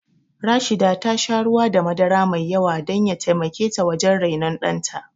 Rashida ta sha ruwa da madara mai yawa don ya taimake ta wajen rainon ɗanta